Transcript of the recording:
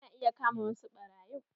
Ana iya kama wasu ɓarayin